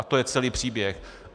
A to je celý příběh!